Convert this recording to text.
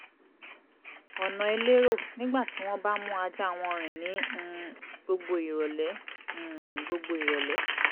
ọ̀nà elérò nígbà tí wọ́n bá ń mú ajá wọn rìn ní um gbogbo ìrọ̀lẹ́ um gbogbo ìrọ̀lẹ́